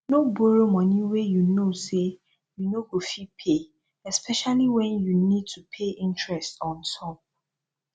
no borrow money wey you know sey you no go fit pay especiallly when you need to pay interest ontop